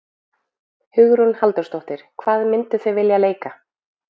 Hugrún Halldórsdóttir: Hvað mynduð þið vilja leika?